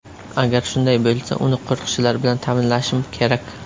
Agar shunday bo‘lsa, uni qo‘riqchilar bilan ta’minlashim kerak.